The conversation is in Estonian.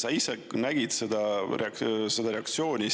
Sa ise nägid seda reaktsiooni